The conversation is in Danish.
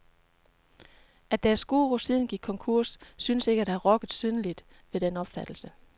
At deres guru siden gik konkurs synes ikke at have rokket synderligt ved den opfattelse.